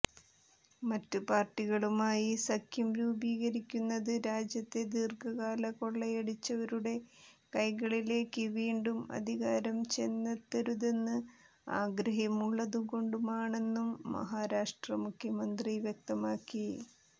മറ്റ് പാര്ട്ടികളുമായി സഖ്യം രൂപീകരിക്കുന്നത് രാജ്യത്തെ ദീര്ഘകാലം കൊള്ളയടിച്ചവരുടെ കൈകളിലേക്ക് വീണ്ടും അധികാരം ചെന്നെത്തരുതെന്ന് ആഗ്രഹമുള്ളതുകൊണ്ടാണെന്നും മഹാരാഷ്ട്ര മുഖ്യമന്ത്രി വ്യക്തമാക്കി